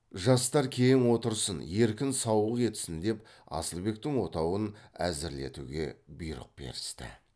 жастар кең отырсын еркін сауық етсін деп асылбектің отауын әзірлетуге бұйрық берісті